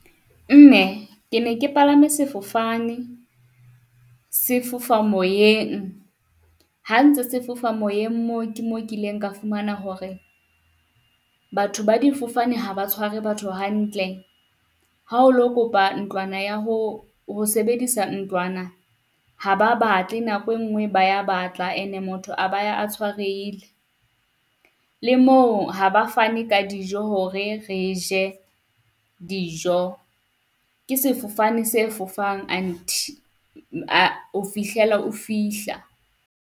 Mme ke ne ke palame sefofane se fofa moyeng. Ha ntse se fofa moyeng moo ke mo kileng ka fumana hore batho ba difofane ha ba tshware batho hantle, ha o lo kopa ntlwana ya ho, ho sebedisa ntlwana. Ha ba batle nako e ngwe ba ya batla ene motho a ba ya a tshwarehile. Le moo ha ba fane ka dijo hore re je dijo. Ke sefofane se fofang ho fihlela o fihla.